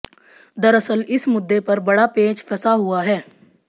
दरअसल इस मुद्दे पर बड़ा पेंच फंसा हुआ है